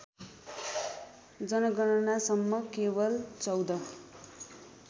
जनगणनासम्म केवल १४